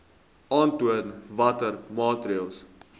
aantoon watter maatreëls